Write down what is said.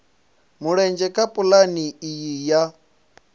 mulenzhe kha pulane iyi ya